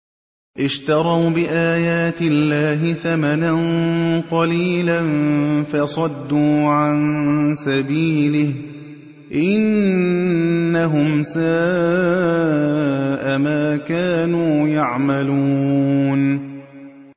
اشْتَرَوْا بِآيَاتِ اللَّهِ ثَمَنًا قَلِيلًا فَصَدُّوا عَن سَبِيلِهِ ۚ إِنَّهُمْ سَاءَ مَا كَانُوا يَعْمَلُونَ